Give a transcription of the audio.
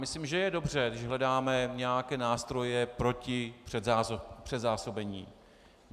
Myslím, že je dobře, když hledáme nějaké nástroje proti předzásobení.